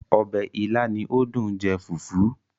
Ọbẹ̀ ìlà ni ó dùn jẹ fùfú